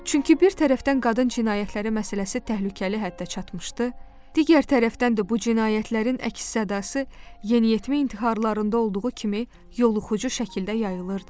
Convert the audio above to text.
Çünki bir tərəfdən qadın cinayətləri məsələsi təhlükəli həddə çatmışdı, digər tərəfdən də bu cinayətlərin əks-sədası yeniyetmə intiharlarında olduğu kimi yoluxucu şəkildə yayılırdı.